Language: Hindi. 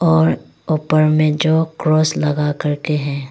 और ऊपर में जो क्रोस लगा करके है।